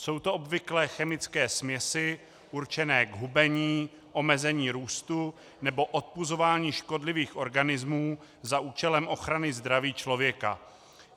Jsou to obvykle chemické směsi určené k hubení, omezení růstu nebo odpuzování škodlivých organismů za účelem ochrany zdraví člověka.